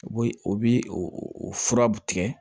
U bɛ o bi o furaw tigɛ